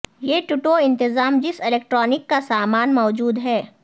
یہ ٹٹو انتظام جس الیکٹرانک کا سامان موجود ہے